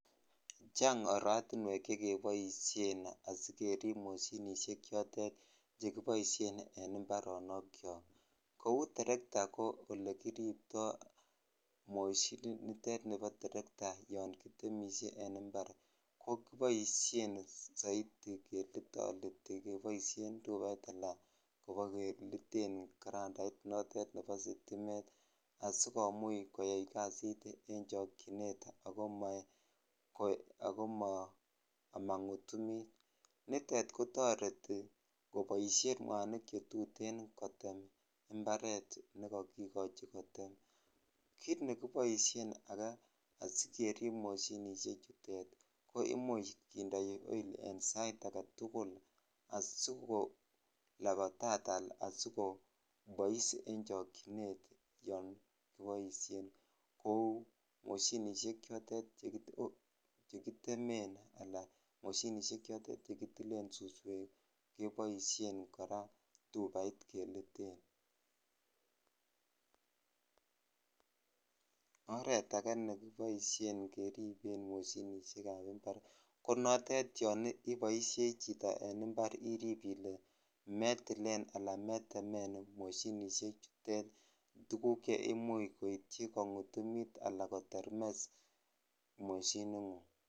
Chang oratiwek chekeboishhen asikerip mishinishek chotet chekoboishen en imoaronokchok kou teretaa ko olekiriptoi moshinit nitet nibo teretaa yon kitemise en impar keboishhen soiti kelitoliten tupait alan ko bokeliten karandait nebo sitimet asikomuch koyai kasit en chhok chinet ako amangutumitnitet kotoreti koboishhen mwanik cche tuten kotem imparet ndkokikochi kotem kit ake nekiboishhen asikerib mashinishek chutet ko imuch kindoi oil en sait agetul asikolapatat ala asikopois en chokchinet yon kiboishen kou moshinisek chutet chekitem alacekitilen suswek keboishen kora tupait keliten (puse) oret akee nekiboishen keliten en moshinishhek ab impar ymko notet yoiboishei chito en impar chito irip ile mytilene ala merwomen moshinishek chutet tuguk ce imuchh koityi kongutumit ala kotermes moshiningung.